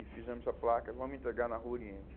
E fizemos a placa, vamos entregar na Rua Oriente.